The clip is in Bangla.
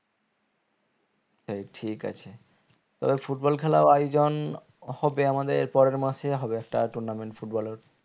ঠিক আছে তবে football খেলাও আয়োজন হবে আমাদের পরের মাসে হবে একটা tournament football এর